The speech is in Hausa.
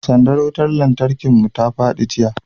sandar wutar lantarkin mu ta fadi jiya